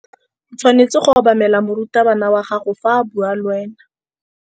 O tshwanetse go obamela morutabana wa gago fa a bua le wena.